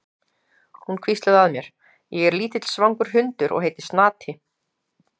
Hún hvíslaði að mér: Ég er lítill svangur hundur og heiti Snati.